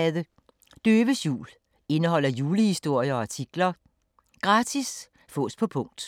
Døves jul Indeholder julehistorier og artikler. Gratis. Fås på punkt.